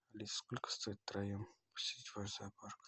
алиса сколько стоит втроем посетить ваш зоопарк